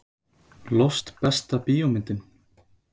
Lost Besta bíómyndin?